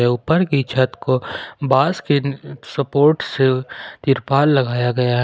ऊपर की छत को बास के सपोर्ट से तिरपाल लगाया गया है।